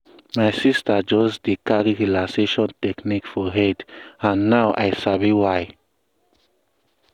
my sister just dey carry relaxation technique for head and now i sabi why.